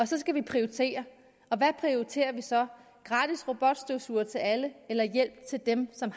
så skal vi prioritere og hvad prioriterer vi så gratis robotstøvsugere til alle eller hjælp til dem som